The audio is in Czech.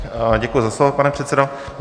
Děkuji za slovo, pane předsedo.